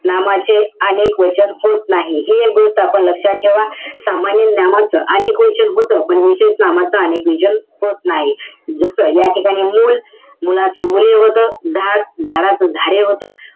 नामाचे अनेक वचन होत नाही. हे एक गोष्ट आपण लक्षात ठेवा. सामान्य नामाचं अनेक वचन होतं. पण विशेष नामाचं अनेक वचन होत नाही. जसं, याठिकाणी मुल, मुलाचं मुले होतं. झाड, झाडाचं झाडे होतं.